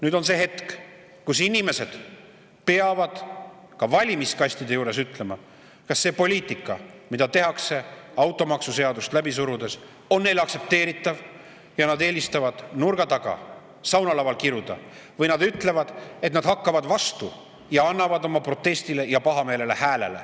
Nüüd on see hetk, kus inimesed peavad ka valimiskastide juures ütlema, kas see poliitika, mida tehakse automaksuseadust läbi surudes, on neile aktsepteeritav, kas nad eelistavad nurga taga, saunalaval kiruda või nad ütlevad, et nad hakkavad vastu ja annavad oma protestile ja pahameelele hääle.